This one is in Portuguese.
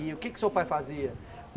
E o que é que o seu pai fazia?